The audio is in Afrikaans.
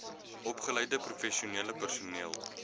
opgeleide professionele personeel